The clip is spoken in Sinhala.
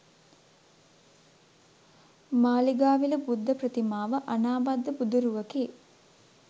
මාළිගාවිල බුද්ධ ප්‍රතිමාව අනාබද්ධ බුදුරුවකි.